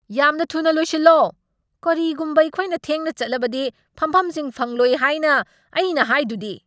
ꯌꯥꯝꯅ ꯊꯨꯅ ꯂꯣꯏꯁꯜꯂꯣ! ꯀꯔꯤꯒꯨꯝꯕ ꯑꯩꯈꯣꯏꯅ ꯊꯦꯡꯅ ꯆꯠꯂꯕꯗꯤ ꯐꯝꯐꯝꯁꯤꯡ ꯐꯪꯂꯣꯏ ꯍꯥꯏꯅ ꯑꯩꯅ ꯍꯥꯏꯗꯨꯗꯤ꯫